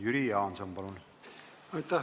Jüri Jaanson, palun!